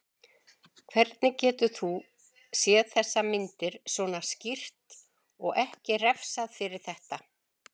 Hvernig geturðu séð þessar myndir, svona skýrt, og ekki refsað fyrir þetta?